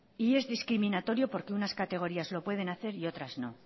y es discriminatorio porque unas categorías lo pueden hacer y otras no